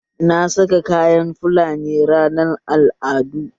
Na saka kayan fulani ranar al'adu